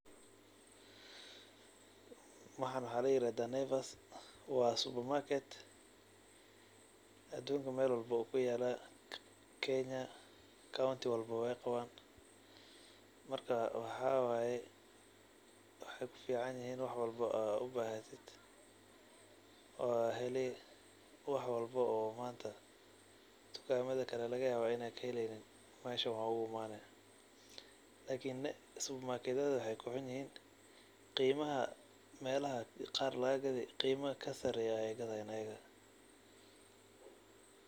Waxan waxa layirahda Naivas wa supermarket adunka meel walbo wu kuyala kenya county walbo wey qawan marka waxa wye wexey kuficanyihin wax walbo ad ubahatid wad heli wax walbo oo manta dukamada kale lagayawo in ad kaheleynin meeshan wad oguimani. Lakin wexey kuxun yihin qimaha melaha qar lagagadayo qimaha kasareyo ayey gadayan iyaga.